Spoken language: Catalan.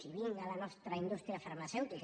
i vinga la nostra indústria farmacèutica